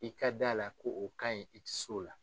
I ka d'a la ko o kan in i tɛ s'o la.